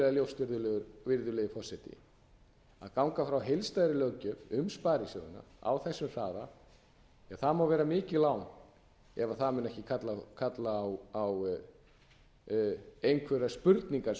ljóst virðulegi forseti að ganga frá heildstæðri löggjöf um sparisjóðina á þessum hraða ja það má vera mikið lán ef það mun ekki kalla á einhverjar spurningar svo